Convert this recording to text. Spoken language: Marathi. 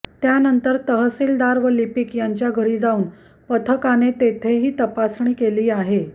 त्यानंतर तहसीलदार व लिपीक यांच्या घरी जाऊन पथकाने तेथेही तपासणी केली आहे